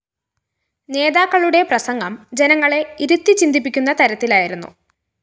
നേതാക്കളുടെ പ്രസംഗം ജനങ്ങളെ ഇരുത്തിച്ചിന്തിപ്പിക്കുന്ന തരത്തിലായിരുന്നു